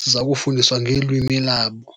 ziza kufundiswa ngelwimi labo.